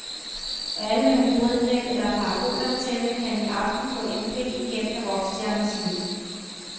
Alle med hybridnet eller parabolantenne kan i aften få indblik i kendte rockstjerners liv.